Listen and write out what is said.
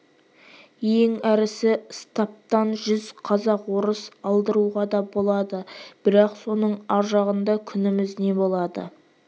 ең әрісі стаптан жүз қазақ-орыс алдыруға да болады бірақ соның ар жағында күніміз не болады